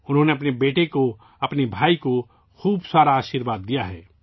انہوں نے اپنے بیٹے کو ، اپنے بھائی کو بہت سارا آشیرواد یا ہے